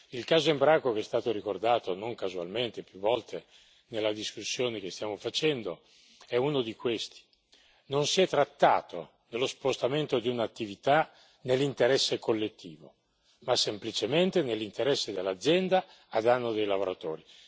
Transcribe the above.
Il caso Embraco, che è stato ricordato non casualmente più volte nella discussione che stiamo facendo, è uno di questi. Non si è trattato dello spostamento di un'attività nell'interesse collettivo, ma semplicemente nell'interesse dell'azienda a danno dei lavoratori.